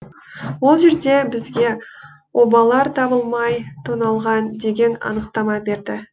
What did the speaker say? ол жерде бізге обалар табылмай тоналған деген анықтама берді